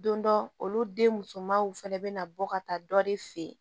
Don dɔ olu den musomanw fɛnɛ bɛna bɔ ka taa dɔ de fe yen